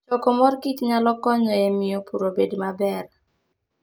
Choko mor kich nyalo konyo e miyo pur obed maber.